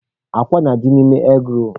Akwa na-adị n'ime egị roolu.